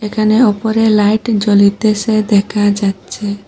এখানে ওপরে লাইট জ্বলিতেসে দেখা যাচ্চে।